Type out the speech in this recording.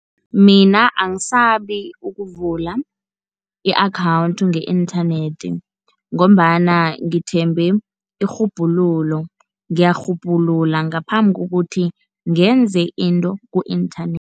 Mina angisabi ukuvula i-akhawunthi nge-inthanethi, ngombana ngithembe irhubhululo, ngiyarhubhulula ngaphambi kokuthi ngenze into ku-inthanethi.